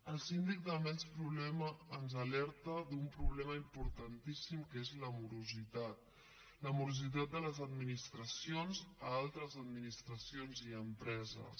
el síndic també ens alerta d’un problema importantíssim que és la morositat la morositat de les administracions a altres administracions i a empreses